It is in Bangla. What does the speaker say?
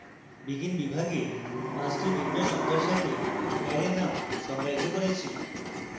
begin বিভাগে 5 the ভিন্ন সংখ্যার সাথে অ্যারে num সংজ্ঞায়িত করেছি